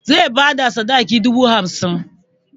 Zai bada sadakin dubu hamsin.